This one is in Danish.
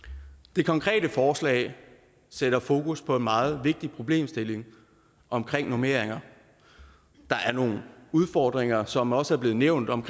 det konkrete forslag sætter fokus på en meget vigtig problemstilling om normeringer der er nogle udfordringer som også er blev nævnt om